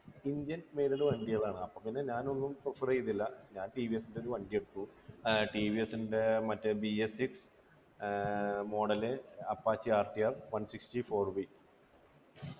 indian made വണ്ടികളാണ് അപ്പൊപിന്നെ ഞാനൊന്നും prefer ചെയ്യുന്നില്ല ഞാൻ ടി വി എസ്ൻ്റെ ഒരു വണ്ടി എടുത്തു ഏർ ടി വി എസ്ൻ്റെ മറ്റേ BSsix ആഹ് model apache rtf one six four